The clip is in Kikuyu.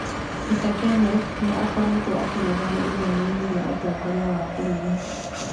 Peter Kenneth nĩ aakoretwo akĩrũgama ithenya-inĩ rĩa ũtongoria wa bũrũri.